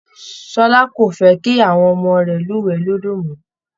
Ṣọlá kò fẹ́ kí àwọn ọmọ rẹ̀ lúwẹ̀ẹ́ lódó mọ́